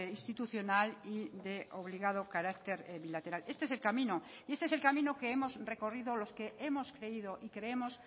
institucional y de obligado carácter bilateral este es el camino y este es el camino que hemos recorrido los que hemos creído y creemos